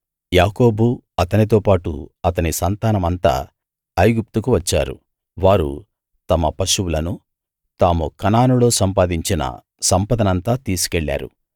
యాకోబు అతనితో పాటు అతని సంతానమంతా ఐగుప్తు వచ్చారు వారు తమ పశువులనూ తాము కనానులో సంపాదించిన సంపదనంతా తీసికెళ్లారు